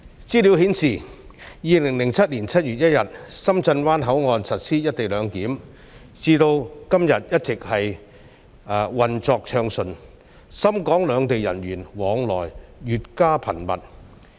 資料顯示，深圳灣口岸自2007年7月1日以來實施"一地兩檢"，至今一直運作暢順，深港兩地人員往來越加頻密。